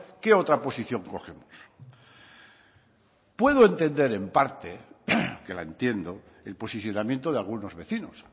qué otra posición cogemos puedo entender en parte que la entiendo el posicionamiento de algunos vecinos